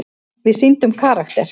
Við sýndum karakter.